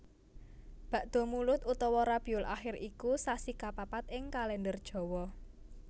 Bakdamulud utawa Rabiulakhir iku sasi kapapat ing Kalèndher Jawa